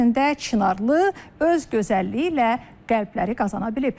Əvəzində Çınarlı öz gözəlliyi ilə qəlbləri qazana bilib.